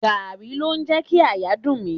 Gààrí ló ń jẹ kí àyà dùn mí.